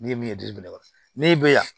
N'i ye min ye jiri bɛ ban n'e bɛ yan